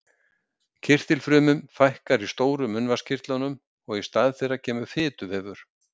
Kirtilfrumum fækkar í stóru munnvatnskirtlunum og í stað þeirra kemur fituvefur.